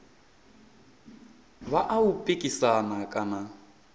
vha a u pikisana kana